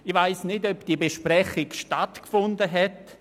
» Ich weiss nicht, ob diese Besprechung stattgefunden hat.